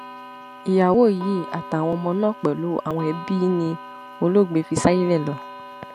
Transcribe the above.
ìyàwó yìí àtàwọn ọmọ náà pẹlú àwọn ẹbí ni olóògbé fi ṣàyé lò